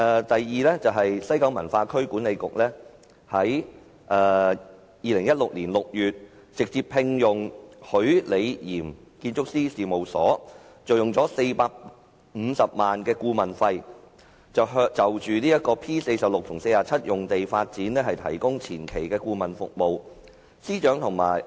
第二，西九文化區管理局於2016年6月直接聘用許李嚴建築師事務所，以450萬元顧問費就 P46/47 用地發展提供前期顧問服務。